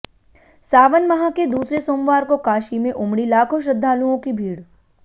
सावन माह के दूसरे सोमवार को काशी में उमड़ी लाखों श्रद्धालुओं की भीड़